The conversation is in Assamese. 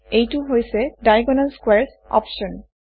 এইটো হৈছে ডায়াগনেল স্কোৱাৰেছ অপশ্যন